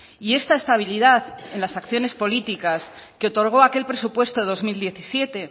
y esta estabilidad en las acciones políticas que otorgó aquel presupuesto dos mil diecisiete